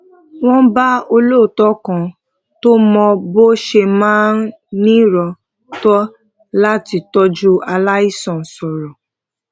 a pinu lati jẹ ki awon ana wa mo aye won leyin opolopo imoran ainidii lati odo won